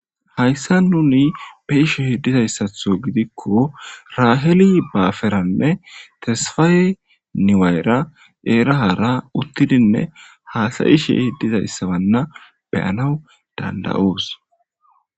Hayssan nuni be7ishe dizayssaththo gidikko raheli baferanne tesfaye newayera heera haara uttidinne haasa7ishe dizayssanne be7anaw dandda7oos.